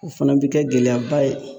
O fana bɛ kɛ gɛlɛyaba ye.